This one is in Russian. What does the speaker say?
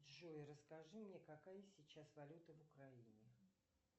джой расскажи мне какая сейчас валюта в украине